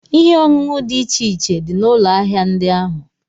Ihe ọṅụṅụ dị iche iche dị n'ụlọ ahịa ndị ahụ.